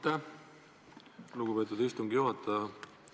Aitäh, lugupeetud istungi juhataja!